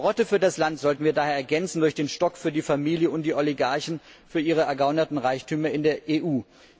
Die Karotte für das Land sollten wir daher ergänzen durch den Stock für die Familie und die Oligarchen für ihre ergaunerten Reichtümer in der EU.